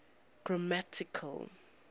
grammatical